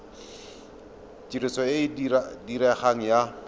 tiriso e e diregang ya